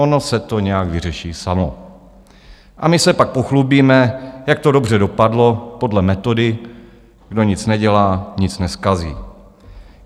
Ono se to nějak vyřeší samo a my se pak pochlubíme, jak to dobře dopadlo, podle metody kdo nic nedělá, nic nezkazí.